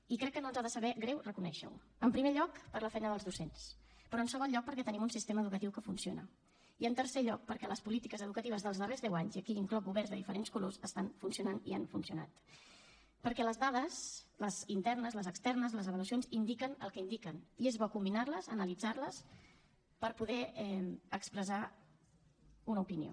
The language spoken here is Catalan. i crec que no ens ha de saber greu reconèixer ho en primer lloc per la feina dels docents però en segon lloc perquè tenim un sistema educatiu que funciona i en tercer lloc perquè les polítiques educatives dels darrers deu anys i aquí hi incloc governs de diferents colors estan funcionant i han funcionat perquè les dades les internes les externes les avaluacions indiquen el que indiquen i és bo combinar les analitzar les per poder expressar una opinió